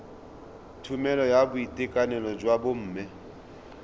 tlhokomelo ya boitekanelo jwa bomme